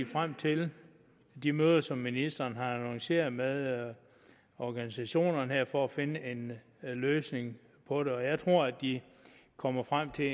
frem til de møder som ministeren har annonceret med organisationerne her for at finde en løsning på det og jeg tror de kommer frem til